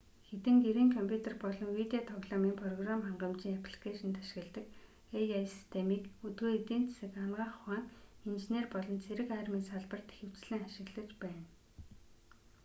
хэдэн гэрийн компьютер болон видео тоглоомын програм хангамжийн апликэйшинд ашигладаг ai системийг өдгөө эдийн засаг анагаах ухаан инженер болон цэрэг армийн салбарт ихэвчлэн ашиглаж байна